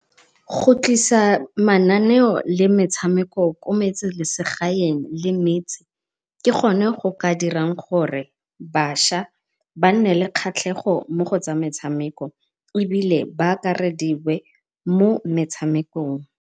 Go tlisa mananeo le metshameko ko metseselegaeng le metse ke go ne go ka dirang gore bašwa ba nne le kgatlhego mo go tsa metshameko, ebile ba akarediwe mo metshamekong.